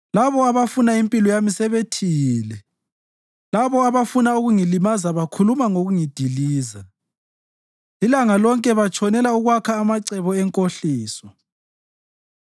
Labo abafuna impilo yami sebethiyile, labo abafuna ukungilimaza bakhuluma ngokungidiliza; ilanga lonke batshonela ukwakha amacebo enkohliso.